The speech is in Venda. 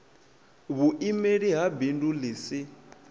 vhuimeli ha bindu ḽi si